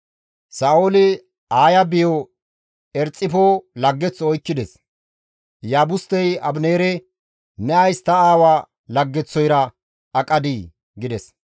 Sa7ooli Aaya biyo Erxifo laggeththo oykkides; Iyaabustey Abineere, «Ne ays ta aawa laggeththoyra aqadii?» gides.